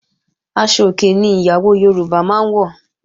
Aṣọ òkè ni ìyàwó Yorùbá máa ń wọ̀